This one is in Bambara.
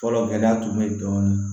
Fɔlɔ gɛlɛya tun bɛ ye dɔɔnin